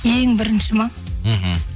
ең бірінші ма мхм